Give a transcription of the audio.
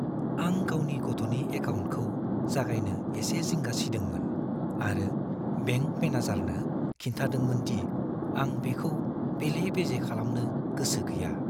आं गावनि गथ'नि एकाउन्टखौ जागायनो एसे जिंगा सिदोंमोन आरो बेंक मेनेजारनो खिन्थादोंमोन दि आं बेखौ बेले-बेजे खालामनो गोसो गैया।